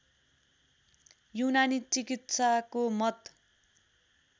यूनानी चिकित्साको मत